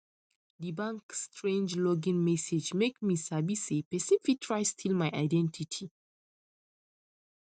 di bank strange login message make me sabi say person fit try steal my identity